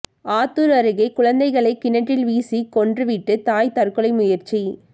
ஆத்தூர் அருகே குழந்தைகளை கிணற்றில் வீசி கொன்றுவிட்டு தாய் தற்கொலை முயற்சி